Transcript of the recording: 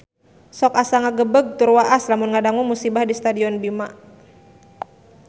Sok asa ngagebeg tur waas lamun ngadangu musibah di Stadion Bima